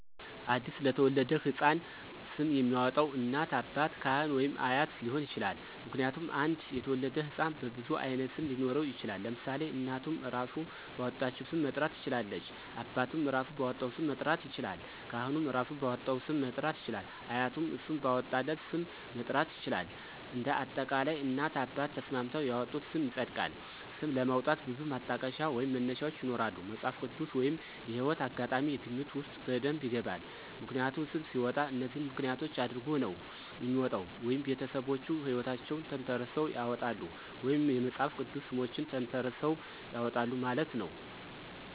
አዲስ ለተወለደው ሕፃን ስም የሚያወጣው እናት፣ አባት፣ ካህን ወይም አያት ሊሆን ይችላል። ምክንያቱም አንድ የተወለደ ህፃን በብዙ አይነት ስም ሊኖረው ይችላል ለምሳሌ እናቱም እራሶ ባወጣቸው ሰም መጥራት ትችላለች አባቱም እራሱ ባወጣው ስም መጥራት ይችላለል ካህኑም እራሱ ባወጣለት ስም መጥራት ይችላል አያቱም እሱ ባወጣለት ስ??? ም መጥራት ይችላል እንደ አጠቃላይ እናት አባት ተስማምተው ያወጡት ስም ይፀድቃል። ስም ለማውጣት ብዙ ማጠቀሻ ወይም መነሻዎች ይኖራሉ መፅሃፍ ቅድስ ወይም የህይወት አጋጣሚ ግምት ውስጥ በደብ ይገባል። ምክንያቱም ሰም ሲወጣ እነዚህን ምክንያት አድረጎ ነው የሚወጣው ወይ ቤተሰቦቹ ሕይወታቸውን ተንተረሰው ያውጣሉ ወይም የመፅሐፍ ቅድስ ሰሞችን ተንተራሰው ያወጣሉ ማለት ነው።